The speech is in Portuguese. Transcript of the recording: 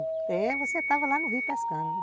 É, você estava lá no rio pescando.